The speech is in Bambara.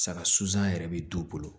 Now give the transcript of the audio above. Saga susan yɛrɛ bɛ du bolo